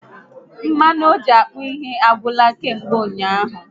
Mmanụ oji akpụ ihe agwụla kamgbe ụnyaahụ